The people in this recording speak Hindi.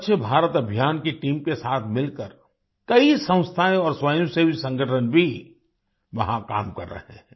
स्वच्छ भारत की अभियान टीम के साथ मिलकर कई संस्थाएँ और स्वयंसेवी संगठन भी वहां काम कर रहे हैं